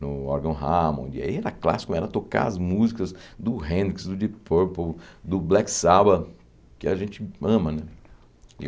no órgão Hammond, e aí era clássico, era tocar as músicas do Hendrix, do Deep Purple, do Black Sabbath, que a gente ama, né?